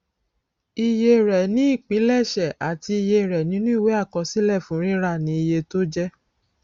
iye rẹ ni ìpilẹṣẹ àti iye rẹ nínú ìwé àkọsílẹ fún rírà ni iye tó jẹ